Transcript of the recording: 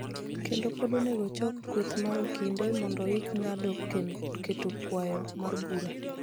kendo pod onego ochoko kweth mar okinde mondo oik ng�ado keto kwayo mar bura.